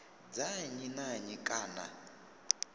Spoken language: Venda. dza nnyi na nnyi kana